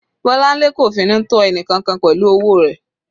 Bolanle kò finú tọ́ ẹnìkankan pẹ̀lú owó rẹ̀.